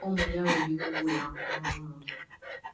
Ụmụ ya nwere ike ịga ụlọ akwụkwọ na ụmụ gị.